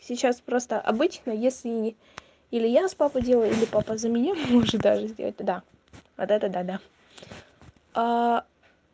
сейчас просто обычно если или я с папой делаю или папа за меня может даже сделать то да вот это да да